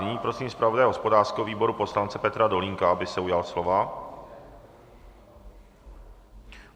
Nyní prosím zpravodaje hospodářského výboru poslance Petra Dolínka, aby se ujal slova.